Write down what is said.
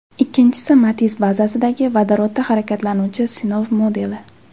Ikkinchisi Matiz bazasidagi, vodorodda harakatlanuvchi sinov modeli.